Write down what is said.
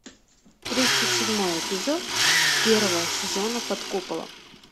тридцать седьмой эпизод первого сезона под куполом